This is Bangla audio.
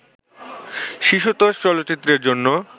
শিশুতোষ চলচ্চিত্রের জন্য